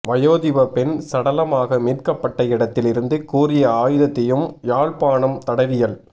வயோதிப பெண் சடலமாக மீட்கப்பட்ட இடத்தில் இருந்து கூரிய ஆயுதத்தையும் யாழ்ப்பாணம் தடவியல்